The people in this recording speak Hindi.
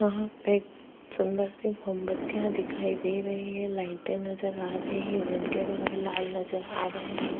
वहाँ पे सुंदर सी मोमबत्तियां दिखाई दे रही है लाइटें नजर आ रही है जिनके रंग लाल नजर आ रहे हैं य --